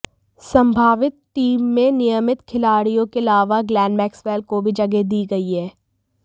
संभावित टीम में नियमित खिलाड़ियों के अलावा ग्लैन मैक्सवेल को भी जगह दी गई है